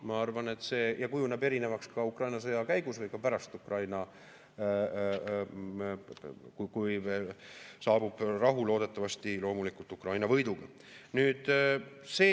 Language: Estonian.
Ma arvan, see kujuneb erinevaks ka Ukraina sõja käigus või pärast Ukraina sõda, kui saabub rahu, loodetavasti loomulikult Ukraina võiduga.